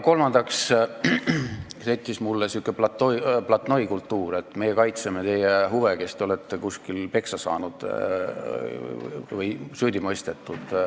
Kolmandaks settis mul siin välja sihuke platnoikultuur, et meie kaitseme teie huve, kes te olete kuskil peksa saanud või süüdi mõistetud.